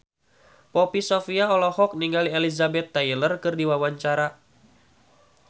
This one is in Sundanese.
Poppy Sovia olohok ningali Elizabeth Taylor keur diwawancara